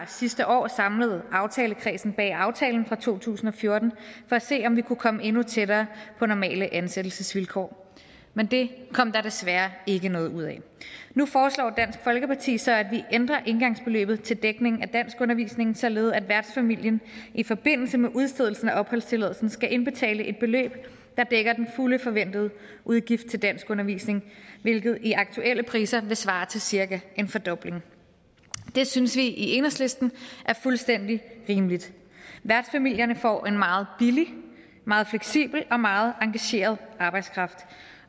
sidste år aftalekredsen bag aftalen fra to tusind og fjorten for at se om vi kunne komme endnu tættere på normale ansættelsesvilkår men det kom der desværre ikke noget ud af nu foreslår dansk folkeparti så at vi ændrer engangsbeløbet til dækning af danskundervisning således at værtsfamilien i forbindelse med udstedelse af opholdstilladelse skal indbetale et beløb der dækker den fulde forventede udgift til danskundervisning hvilket i aktuelle priser vil svare til cirka en fordobling det synes vi i enhedslisten er fuldstændig rimeligt værtsfamilierne får en meget billig meget fleksibel og meget engageret arbejdskraft